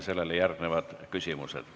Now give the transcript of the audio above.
Sellele järgnevad küsimused.